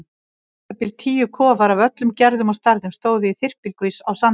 Um það bil tíu kofar af öllum gerðum og stærðum stóðu í þyrpingu á sandinum.